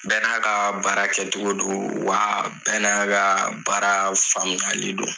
Bɛɛ n'a ka baara kɛ cogo don, wa bɛɛ n'a ka baara faamualii don.